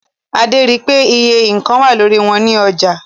Adé ri pé àwon iye nǹkan wà lórí wọn ní ilé-ìtajà.